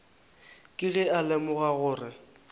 ke ge a lemoga gore